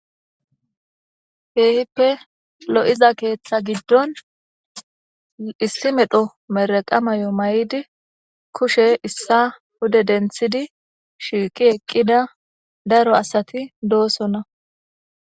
Keehippe lo'iza keeththa giddon issi medho mirreqa mayo mayidi kushe issa pude denththidi shiiqi eqqida daro asati doosona.